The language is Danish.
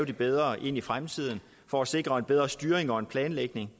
det bedre i fremtiden for at sikre en bedre styring og planlægning